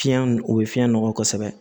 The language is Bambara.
Fiɲɛ o bɛ fiɲɛ nɔgɔ kosɛbɛ